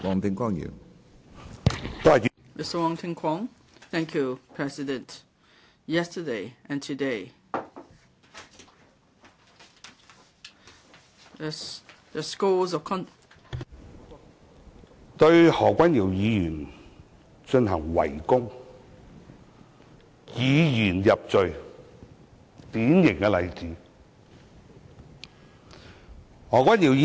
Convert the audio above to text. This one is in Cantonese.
主席，昨天和今天對何君堯議員的譴責，"黑雲壓城城欲摧"，他們對何君堯議員進行圍攻，是以言入罪的典型例子。